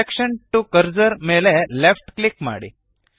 selection to cursor ಮೇಲೆ left click ಮಾಡಿ